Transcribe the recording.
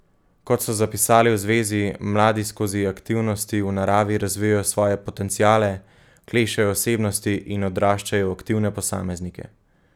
Kot so zapisali v zvezi, mladi skozi aktivnosti v naravi razvijajo svoje potenciale, klešejo osebnosti in odraščajo v aktivne posameznike.